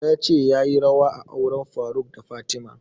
Ya ce yayi rawa a auren faruk da fatima